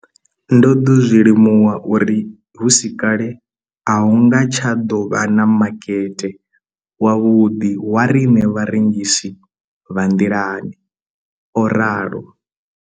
Ndo ḓo zwi limuwa uri hu si kale a hu nga tsha ḓo vha na makete wavhuḓi wa riṋe vharengisi vha nḓilani, o ralo.